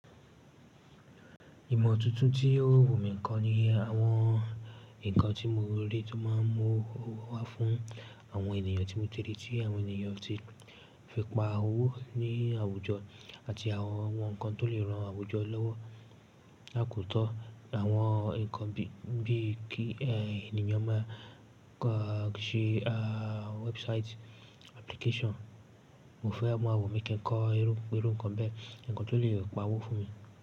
Ìmọ̀ tuntun tí yóò wù mí kan ni àwọn nǹkan tí mo rí tó máa ń mú owó wá fún àwọn ènìyàn tí mo ti rí tí àwọn ènìyàn ti fi pa owó ní àwùjọ àti àwọn ohun kan tó lè ran àwùjọ lọ́wọ́. La kò tọ́ àwọn nǹkan bí i kí ènìyàn máa ka ṣe, ah, website application. Mo fẹ́ máa wù mí kí ń kọ irú, irú nǹkan bẹ́ẹ̀, nǹkan tó lè pa owó fún mi.